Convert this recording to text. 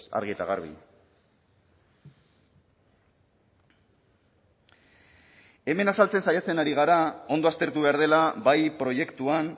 argi eta garbi hemen azaltzen saiatzen ari gara ondo aztertu behar dela bai proiektuan